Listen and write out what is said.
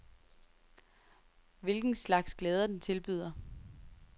Hvilken slags glæder den tilbyder.